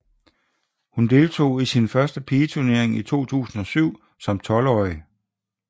Hun deltog i sin første pigeturnering i 2007 som 12 åring